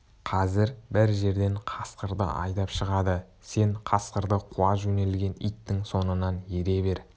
қазір бір жерден қасқырды айдап шығады сен қасқырды қуа жөнелген иттің соңынан ере бер